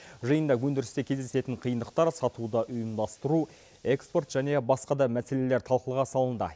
жиында өндірісте кездесетін қиындықтар сатуды ұйымдастыру экспорт және басқа да мәселелер талқыға салынды